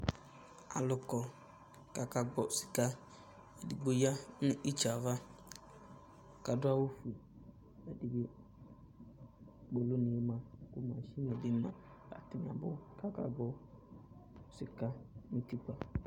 Alʋ kɔ kʋ akagbɔ sɩka, edigbo ya nʋ itsi yɛ ava, kʋ adʋ awʋ blʋ, kpolunɩ ma, masini bɩ ma atanɩ abʋ, kʋ akagbɔ sɩka nʋ utikpǝ